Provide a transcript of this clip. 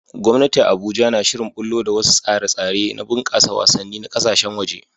Gwamnati a Abuja na shirin ɓullo da wasu tsare-tsare na bunƙasa wasanni na ƙasashen waje